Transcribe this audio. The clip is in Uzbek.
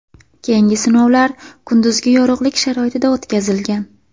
Keyingi sinovlar kunduzgi yorug‘lik sharoitida o‘tkazilgan.